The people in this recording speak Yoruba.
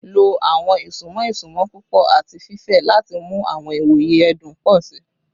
Lo awọn isunmọ isunmọ pupọ ati fifẹ lati mu awọn iwoye ẹdun pọ si